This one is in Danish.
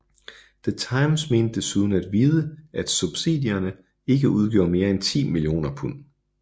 The Times mente desuden at vide at subsidierne ikke udgjorde mere end 10 mio pund